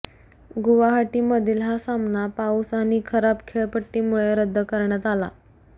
गुवाहाटीमधील हा सामना पाऊस आणि खराब खेळपट्टीमुळे रद्द करण्यात आला